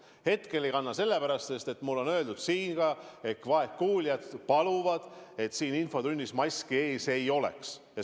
Hetkel ei kanna sellepärast, et mulle on öeldud, et vaegkuuljad paluvad, et infotunnis maski ees ei oleks.